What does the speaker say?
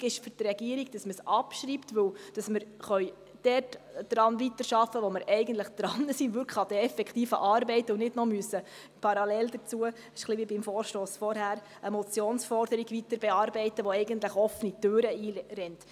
Wichtig ist für die Regierung, dass es abgeschrieben wird, damit wir dort weiterarbeiten können, wo wir eigentlich daran sind, nämlich an den effektiven Arbeiten, sodass wir nicht noch parallel dazu eine Motionsforderung weiterbearbeiten müssen, welche eigentlich offene Türen einrennt.